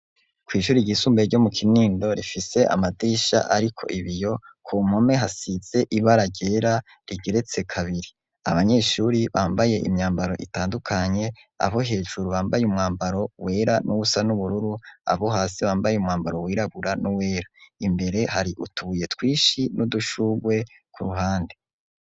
Kw' ishuri ryisumbee ryo mu Kinindo rifise amadirisha ariko ibiyo , ku mpome hasize ibara ryera rigeretse kabiri . Abanyeshuri bambaye imyambaro itandukanye abo hejuru bambaye umwambaro wera n'ubusa n'ubururu abo hasi bambaye umwambaro wirabura n'uwera . Imbere hari utubuye twinshi n'udushurwe ku ruhande.